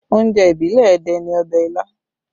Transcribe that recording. Oúnjẹ ìbílẹ̀ Ẹdẹ ni ọbẹ̀ ilá